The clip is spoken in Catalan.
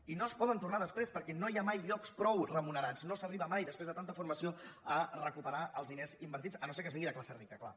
i no es poden tornar després perquè no hi ha mai llocs prou remunerats no s’arriba mai després de tanta formació a recuperar els diners invertits si no és que es ve de classe rica clar